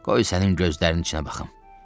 Qoy sənin gözlərinin içinə baxım.